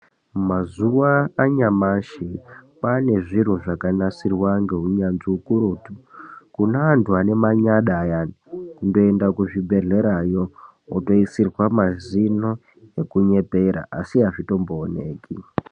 Mazuwa anyamashi ,kwaane zviro zvakanasirwa ngeunyanzvi ukurutu, kune antu anemanyada ayani, kungoenda kuzvibhedhlerayo, wotoyiswe mazino ekunyepera asi azvitombowonekwi.